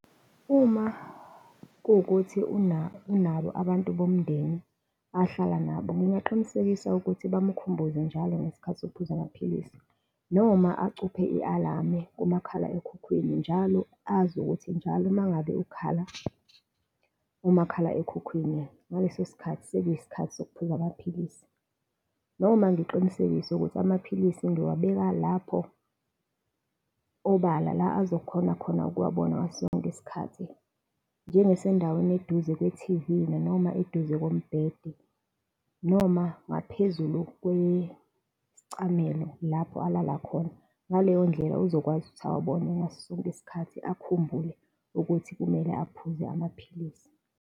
Uma kuwukuthi unabo abantu bomndeni ohlala nabo, ngingaqinisekisa ukuthi bamkhumbuze njalo ngesikhathi sokuphuza amaphilisi, noma acuphe i-alamu kumakhala ekhukhwini, njalo azi ukuthi njalo mangabe ukhala umakhala ekhukhwini, ngaleso sikhathi sekuyisikhathi sokuphuza amaphilisi. Noma ngiqinisekise ukuthi amaphilisi ngiwabeka lapho obala la azokhonza khona ukuwabona ngaso sonke isikhathi njengasendaweni eduze kwe-T_V, noma eduze kombhede, noma ngaphezulu kwesicamelo lapho alala khona, ngaleyo ndlela, uzokwazi ukuthi awabone ngaso sonke isikhathi, akhumbule ukuthi kumele aphuze amaphilisi.